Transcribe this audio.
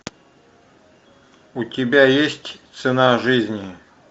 у тебя есть цена жизни